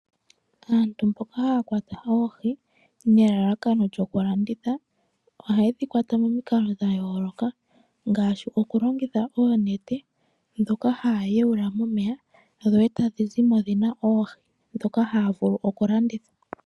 Aantu mboka haya wata oohi nelalakano lyoku landitha ohaye dhi kwata pamikalo dha yooloka, ngaashi okulongitha oonete ndhoka haya yawula momeya dho etadhi zimo dhina oohi ndhoka haya vulu oku landitha.